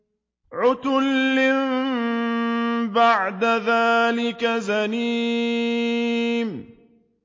عُتُلٍّ بَعْدَ ذَٰلِكَ زَنِيمٍ